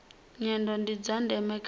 nyendo ndi zwa ndeme kha